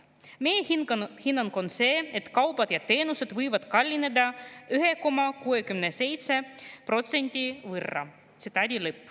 Meie hinnang on see, et kaubad ja teenused võivad kallineda 1,67% võrra.